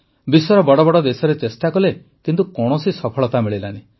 ବିଶ୍ୱର ବଡ଼ ବଡ଼ ଦେଶରେ ଚେଷ୍ଟା କଲେ କିନ୍ତୁ କୌଣସି ସଫଳତା ମିଳିଲାନି